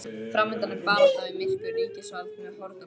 Framundan er barátta við myrkur, ríkisvald með horn og klaufir.